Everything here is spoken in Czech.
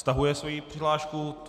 Stahuje svoji přihlášku.